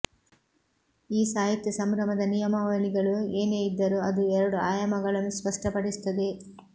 ಈ ಸಾಹಿತ್ಯ ಸಂಭ್ರಮದ ನಿಯಮಾವಳಿಗಳು ಏನೇ ಇದ್ದರೂ ಅದು ಎರಡು ಆಯಾಮಗಳನ್ನು ಸ್ಪಷ್ಟಪಡಿಸುತ್ತದೆ